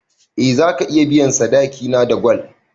Eh zaka iya biyan sadaki na da gwal